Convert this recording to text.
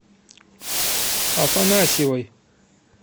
афанасьевой